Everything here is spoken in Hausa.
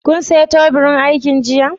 Kun siya teburin aikin jiya?